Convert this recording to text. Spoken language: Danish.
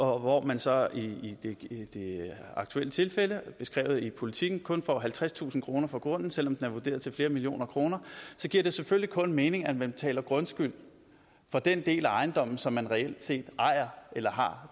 hvor man så i det aktuelle tilfælde beskrevet i politiken kun får halvtredstusind kroner for grunden selv om den er vurderet til flere millioner kroner så giver det selvfølgelig kun mening at man betaler grundskyld for den del af ejendommen som man reelt set ejer eller har